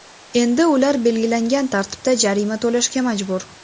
Endi ular belgilangan tartibda jarima to‘lashga majbur.